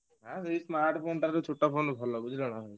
ଆ ସେଇ smart phone ଟାରୁ ଛୋଟ phone ଟା ଭଲ ବୁଝିଲ ନା।